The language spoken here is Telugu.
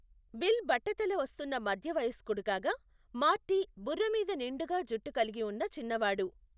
బిల్ బట్టతల వస్తున్న మధ్య వయస్కుడు కాగా, మార్టీ బుర్రమీద నిండుగా జుట్టు కలిగి ఉన్న చిన్నవాడు.